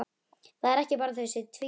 Það er ekki bara að þau séu tvíburar.